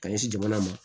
Ka ɲɛsin jamana ma